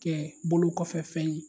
Kɛ bolo kɔfɛ fɛn ye.